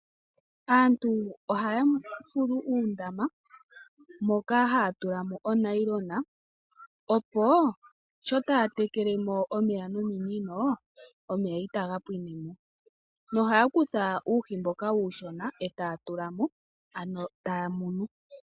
Aantu ohaya fulu uundama moka haya tulamo onayilona opo sho taya tekelemo pmeya nominino omeya itaga pwinemo. Ohaya kutha uuhi mboka uushona e taya tulamo ano taya munu.